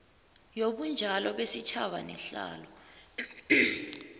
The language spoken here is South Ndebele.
yobunjalo besitjhaba nehlalo